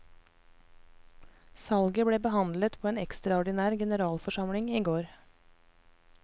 Salget ble behandlet på en ekstraordinær generalforsamling i går.